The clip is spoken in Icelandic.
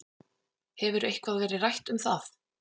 Hefur eitthvað verið rætt um það?